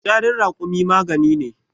fitsarin rakumi magani ne